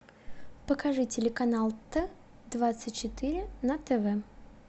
покажи телеканал т двадцать четыре на тв